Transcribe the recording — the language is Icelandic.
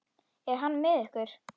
Er hann með ykkur?